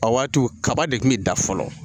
A waatiw kaba de kun bɛ da fɔlɔ